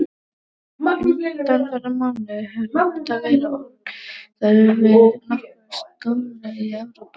Undanfarna mánuði hefur Mata verið orðaður við nokkur stórlið í Evrópu.